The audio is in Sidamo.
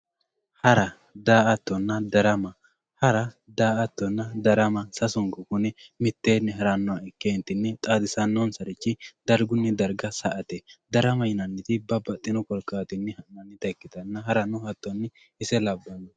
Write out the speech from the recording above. hara, daa"attonna darama hara, daa"attonna darama sasunku kuni miteeni heerannoha ikkentini xaadisanonsarich dargunni darga sa"ate darama yinanniti babbaxino korkaatinni ha'neemota ikkitanna harano hattoni ise labbanno.